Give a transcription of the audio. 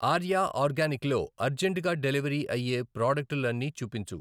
Arya organic లో urgent గా delivery అయ్యే ప్రాడక్టులన్నీ చూపించు.